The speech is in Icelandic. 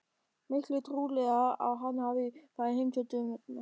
Miklu trúlegra að hann hafi farið heim til dömunnar.